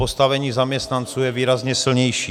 Postavení zaměstnanců je výrazně silnější.